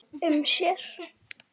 um sér.